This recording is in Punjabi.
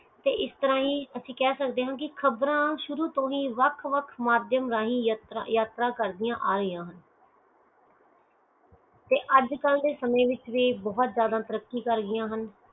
ਤੇ ਇਸ ਤਰਾਹ ਹੀ ਅਸੀਂ ਕਹਿ ਸਕਦੇ ਆ ਕਿ ਖ਼ਬਰ ਸ਼ੁਰੂ ਤੋਂ ਹੀ ਵੱਖ ਵੱਖ ਯਾਤਰਾ ਕਰਦਿਆਂ ਰਹੀਆਂ ਹਨ ਤੇ ਅਜੇ ਕਲ ਦੇ ਸਮੇਂ ਵਿਚ ਵੀ ਤਰੱਕੀ ਕਰ ਗਯੀ ਆ ਹਨ